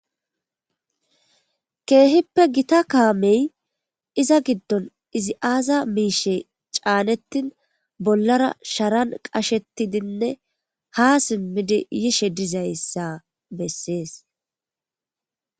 keehippe gita kaamey iza giddon izi aaza miishe caanettin bollara sharan qashetidinne ha simmidi yishe dizayssa bessees